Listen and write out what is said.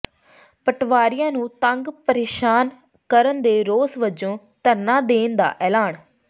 ਪਟਵਾਰੀਆਂ ਨੂੰ ਤੰਗ ਪ੍ਰੇਸ਼ਾਨ ਕਰਨ ਦੇ ਰੋਸ ਵਜੋਂ ਧਰਨਾ ਦੇਣ ਦਾ ਐਲਾਨ